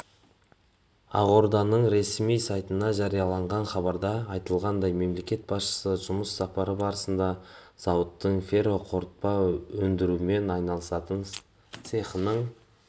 ақорданың ресми сайтында жарияланған хабарда айтылғандай мемлекет басшысы жұмыс сапары барысында зауыттың ферроқорытпа өндірумен айналысатын цехының